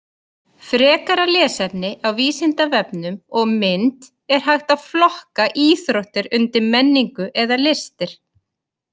Frekara lesefni á Vísindavefnum og mynd Er hægt að flokka íþróttir undir menningu eða listir?